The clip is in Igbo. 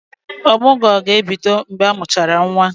Ọmụgwọ ga-ebido mgbe amụchara nwa.